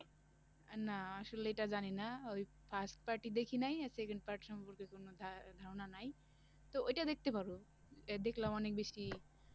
না আসলে এটা জানিনা ওই first part ই দেখি নাই আর second part সম্পর্কে কোন ধা~ ধারণা নাই তো ওইটা দেখতে পারো দেখলাম অনেক বেশি